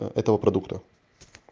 этого продукта